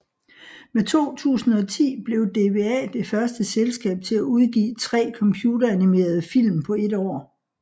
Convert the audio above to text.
Med 2010 blev DWA det første selskab til at udgive 3 computeranimerede film på et år